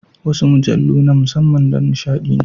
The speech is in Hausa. Wasu mujallu na musamman don nishaɗi ne.